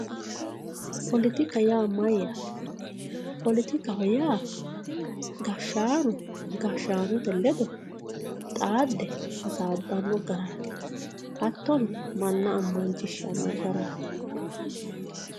poletika yaa mayyaate poletikaho yaa gashshaano gashshaanote ledo xaadde hasaabbanno garaati hattono manna ammansiissano garaati.